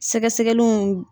Sɛgɛsegɛliw.